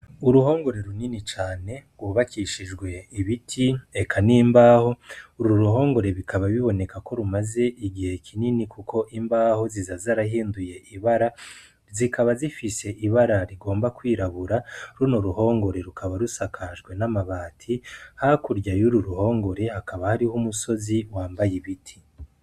Uruhongore runini cane rwubakishijwe ibiti eka n'imbaho, uru ruhongore bikaba biboneka ko rumaze igihe kinini kuko imbaho ziza zarahinduye ibara, zikaba zifise ibara rigomba kwirabura, runo ruhongore rukaba rusakajwe n'amabati, hakurya y'uruhongore hakaba hariho umusozi wambaye ibiti.